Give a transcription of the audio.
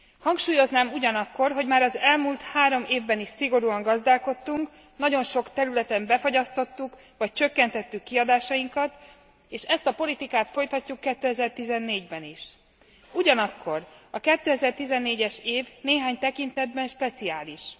Hangsúlyoznám ugyanakkor, hogy már az elmúlt három évben is szigorúan gazdálkodtunk, nagyon sok területen befagyasztottuk vagy csökkentettük kiadásainkat, és ezt a politikát folytatjuk 2014 ben is. Ugyanakkor a 2014 es év néhány tekintetben speciális.